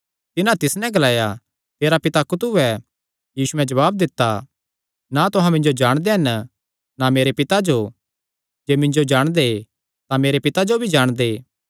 तिन्हां तिस नैं ग्लाया तेरा पिता कुत्थू ऐ यीशुयैं जवाब दित्ता ना तुहां मिन्जो जाणदे हन ना मेरे पिता जो जे मिन्जो जाणदे तां मेरे पिता जो भी जाणदे